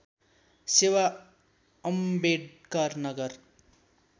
सेवा अम्बेडकर नगर